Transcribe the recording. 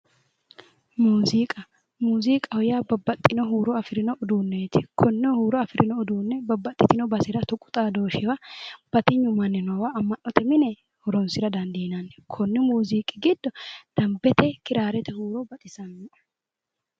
Muziiqaho yaa babaxino huuro afirino uduuneeti konne huuro afirino uduunne babaxino basera tuqu xadooshshiwa batiynu manni noowa ama'note mine horoonsira dandineemmo konni muuziiqi giddo dambete kiraarete huuro baxisannoe